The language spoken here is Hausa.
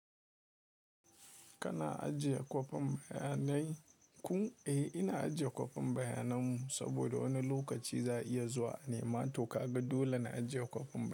Kana ajiye kwafin bayanai? Kun, eh ina ajiye kwafin bayanan mu saboda wani lokaci za a iya zuwa a nema to ka ga dole na ajiye kwafin.